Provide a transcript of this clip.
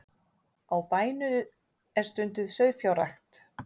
Á bænum er stunduð sauðfjárrækt